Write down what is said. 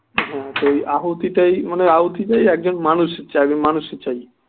হ্যাঁ সেই আহুতিটাই মানে আহুতি টাই একজন মানুষ চাইবে মানুষই চাই